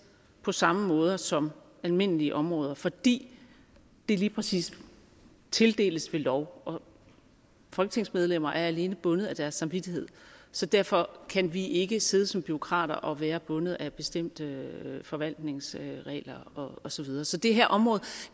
på samme måde som almindelige områder fordi det lige præcis tildeles ved lov folketingsmedlemmer er alene bundet af deres samvittighed så derfor kan vi ikke sidde som bureaukrater og være bundet af bestemte forvaltningsregler og så videre så det her område